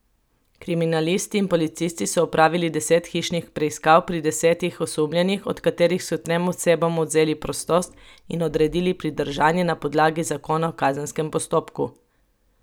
Kriminalisti in policisti so opravili deset hišnih preiskav pri desetih osumljenih, od katerih so trem osebam odvzeli prostost in odredili pridržanje na podlagi Zakona o kazenskem postopku.